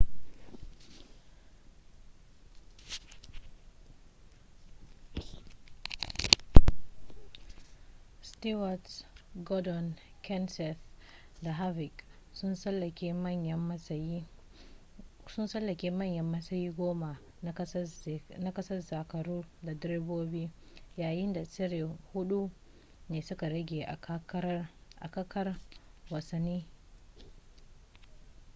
stewart gordon kenseth da harvick sun tsallake manyan matsayi goma na gasar zakaru ta direbobi yayin da tsere hudu ne suka rage a kakar wasannin